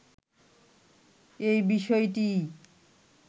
এ বিষয়টিই